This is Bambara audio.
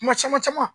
Kuma caman caman